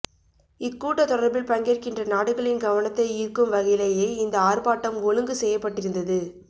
இக்கூட்டத் தொடரில் பங்கேற்கின்ற நாடுகளின் கவனத்தை ஈர்க்கும் வகையிலேயே இந்த ஆர்ப்பாட்டம் ஒழுங்கு செய்யப்பட்டிருந்தது